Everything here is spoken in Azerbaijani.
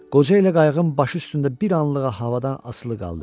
Qoca ilə qayığın başı üstündə bir anlığa havadan asılı qaldı.